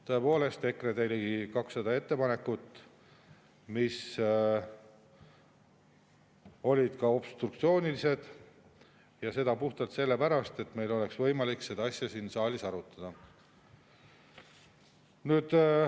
Tõepoolest, EKRE tegi ligi 200 ettepanekut, mis olid obstruktsioonilised, ja seda puhtalt sellepärast, et meil oleks võimalik seda asja siin saalis arutada.